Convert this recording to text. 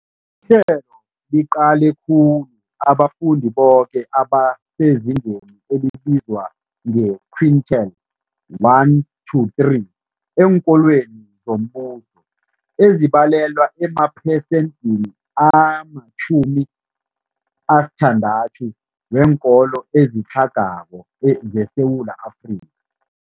Ihlelo liqale khulu abafundi boke abasezingeni elibizwa nge-quintile 1-3 eenkolweni zombuso, ezibalelwa emaphesenthini ama-60 weenkolo ezitlhagako zeSewula Afrika.